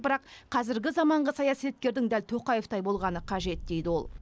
бірақ қазіргі заманғы саясаткердің дәл тоқаевтай болғаны қажет дейді ол